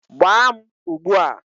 Gbaa m ugbu a!